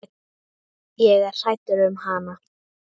Ég er hrædd um hana.